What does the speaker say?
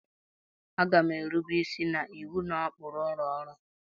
Ee, a ga m erube isi na iwu na ụkpụrụ ụlọ ọrụ a